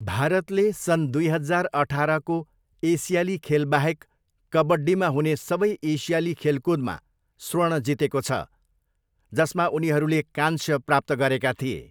भारतले सन् दुई हजार अठारको एसियाली खेलबाहेक कबड्डीमा हुने सबै एसियाली खेलकुदमा स्वर्ण जितेको छ, जसमा उनीहरूले काँस्य प्राप्त गरेका थिए।